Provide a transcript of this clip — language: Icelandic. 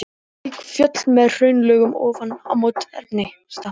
Slík fjöll, með hraunlögum ofan á móberginu, nefnast stapar.